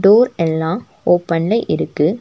Door எல்லா ஓபன்ல இருக்கு.